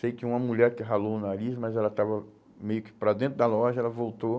Sei que uma mulher que ralou o nariz, mas ela estava meio que para dentro da loja, ela voltou.